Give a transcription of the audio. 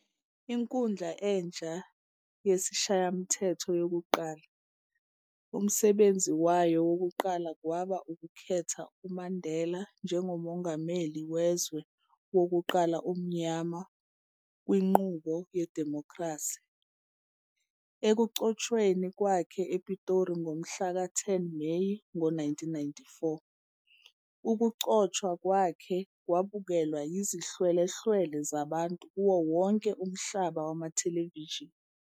Inkundla entsha yesiShayamthetho yokuqala, umsebgenzi wayo wokuqala kwaba ukukhetha uMandela njengoMongameli wezwe wokuqala omnyama kwinqubo yedimokhrasi. Ekugcotshweni kwakhe ePitori ngomhlaka 10 Meyi ngo-1994, ukugcotshwa kwakhe kwabukelwa yizihlwele-hlwele zabantu kuwo wonke umhlaba kumathelevishini.